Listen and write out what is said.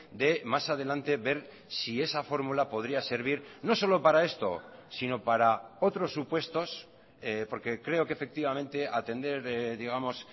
de mas adelante ver si esa fórmula podría servir no solo para esto sino para otros supuestos porque creo que efectivamente atender digamos